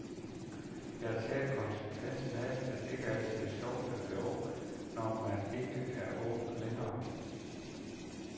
Jeg har taget konsekvensen af, at det altså ikke er sjovt at være ung, når man ikke er ung længere.